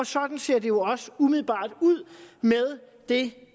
sådan ser det jo også umiddelbart ud med det